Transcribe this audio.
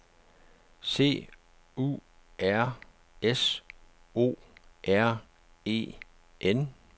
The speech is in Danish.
C U R S O R E N